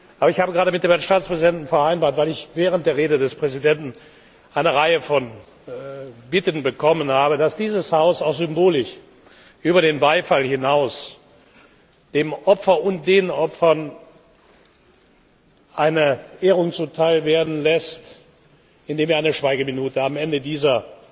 Aber ich habe gerade mit dem Herrn Staatspräsidenten vereinbart weil ich während der Rede des Präsidenten eine Reihe von Bitten bekommen habe dass dieses Haus auch symbolisch über den Beifall hinaus dem Opfer und den Opfern eine Ehrung zuteil werden lässt, indem es am Ende dieser